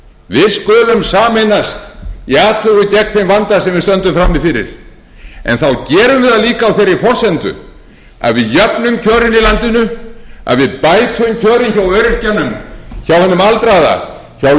við skulum sameinast í athugun gegn þeim vanda sem við stöndum frammi fyrir en þá gerum við það líka á þeirri forsendu að við jöfnum kjörin í landinu að við bætum kjörin hjá öryrkjanum hjá hinum aldraða hjá launamanninum